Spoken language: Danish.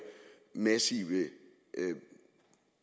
massive